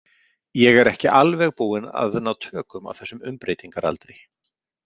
Ég er ekki alveg búinn að ná tökum á þessum umbreytingargaldri